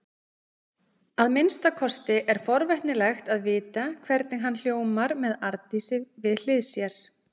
Að minnsta kosti er forvitnilegt að vita hvernig hann hljómar með Arndísi við hlið sér.